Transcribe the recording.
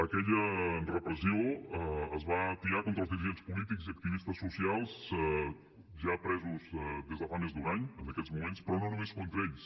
aquella repressió es va atiar contra els dirigents polítics i activistes socials ja presos des de fa més d’un any en aquests moments però no només contra ells